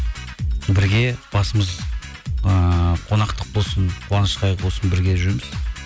бірге басымыз ыыы қонақтық болсын қуаныш қайғы болсын бірге жүреміз